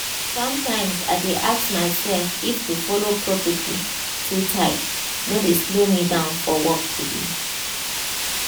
sometimes i dey ask myself if to follow protocol too tight no dey slow me down for work today.